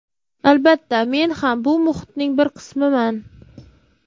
Albatta, men ham bu muhitning bir qismiman.